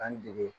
An dege